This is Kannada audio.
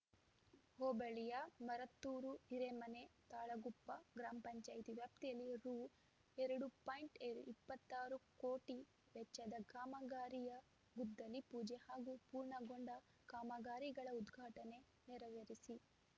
ಹೋಬಳಿಯ ಮರತ್ತೂರು ಹಿರೇಮನೆ ತಾಳಗುಪ್ಪ ಗ್ರಾಮ ಪಂಚಾಯೆತಿ ವ್ಯಾಪ್ತಿಯಲ್ಲಿ ರು ಎರಡು ಪಾಯಿಂಟ್ ಎರಡ್ ಇಪ್ಪತ್ತ್ ಆರು ಕೋಟಿ ವೆಚ್ಚದ ಕಾಮಗಾರಿಯ ಗುದ್ದಲಿ ಪೂಜೆ ಹಾಗೂ ಪೂರ್ಣಗೊಂಡ ಕಾಮಗಾರಿಗಳ ಉದ್ಘಾಟನೆ ನೆರವೇರಿಸಿ